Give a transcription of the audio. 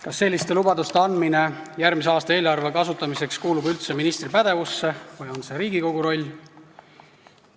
Kas selliste lubaduste andmine järgmise aasta eelarve kasutamiseks kuulub üldse ministri pädevusse või on see Riigikogu roll?